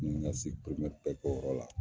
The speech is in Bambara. N ɲe ka bɛɛ k'o yɔrɔ la.